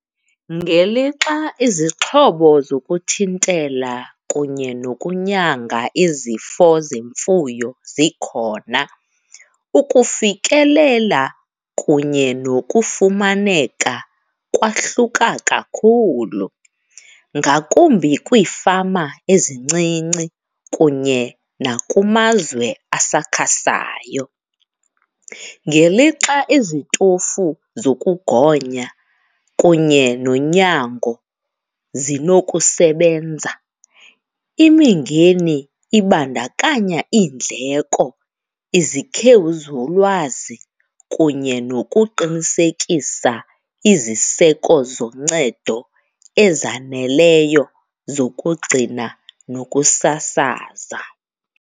Ngelixa izixhobo zokuthintela kunye nokunyanga izifo zemfuyo zikhona, ukufikelela kunye nokufumaneka kwahluka kakhulu ngakumbi kwiifama ezincinci kunye nakumazwe asakhasayo. Ngelixa izitofu zokugonya kunye nonyango zinokusebenza imingeni, ibandakanya iindleko, izikhewu zolwazi kunye nokuqinisekisa iziseko zoncedo ezaneleyo zokugcina nokusasaza.